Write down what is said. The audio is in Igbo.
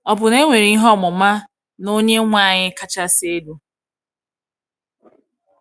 Ọ̀ bụ na e nwere ihe ọmụma n’Onyenwe anyị kachasị elu?